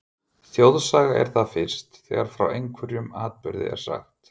Þjóðsaga er það fyrst, þegar frá einhverjum atburði er sagt.